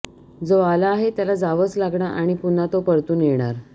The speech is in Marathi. जो आला आहे त्याला जावंच लागणार आणि पुन्हा तो परतून येणार